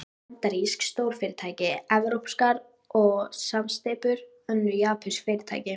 Bandarísk stórfyrirtæki, evrópskar samsteypur, önnur japönsk fyrirtæki.